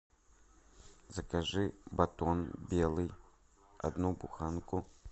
закажи батон белый одну буханку